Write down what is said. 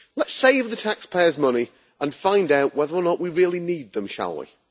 Let us save the taxpayers' money and find out whether or not we really need them, shall we?